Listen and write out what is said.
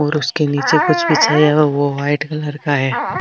और उसके निचे कुछ बिछाया हुआ है वो व्हाइट कलर का है।